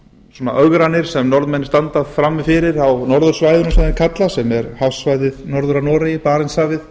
svona ögranir sem norðmenn standa frammi fyrir á norðursvæðinu sem þeir kalla sem er hafsvæðið norður af noregi barentshafið